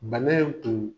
Bana in tun